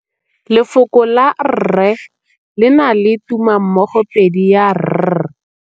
Lefoko la rre, le na le tumammogôpedi ya, r.